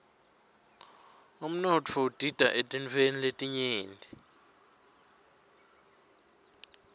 umnotfo udita eetintfweni letinyenti